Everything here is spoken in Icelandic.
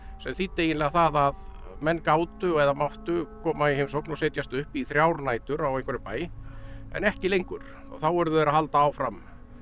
sem þýddi eiginlega það að menn gátu eða máttu koma í heimsókn og setjast upp í þrjár nætur á einhverjum bæ en ekki lengur og þá urðu þeir að halda áfram